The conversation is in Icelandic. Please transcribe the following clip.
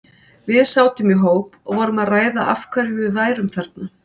Við sátum í hóp og vorum að ræða af hverju við værum þarna.